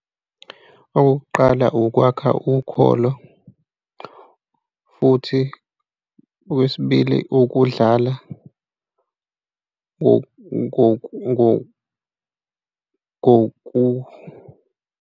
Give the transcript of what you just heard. Okokuqala ukwakha ukholo, futhi okwesibili ukudlala .